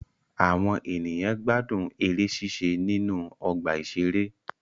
Àwọn ènìyàn gbádùn eré ṣíṣe nínú ọgbà ìṣeré